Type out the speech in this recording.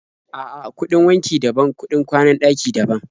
A'a, kuɗin wanki daban, kuɗin kwanan ɗaki daban.